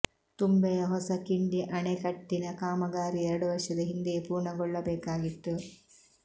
ತುಂಬೆ ಯ ಹೊಸ ಕಿಂಡಿ ಅಣೆ ಕಟ್ಟಿನ ಕಾಮಗಾರಿ ಎರಡು ವರ್ಷದ ಹಿಂದೆಯೇ ಪೂರ್ಣಗೊಳ್ಳಬೇಕಾಗಿತ್ತು